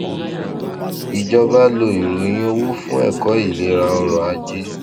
ìjọba lo ìròyìn owó fún ẹkọ ìlera ọrọajé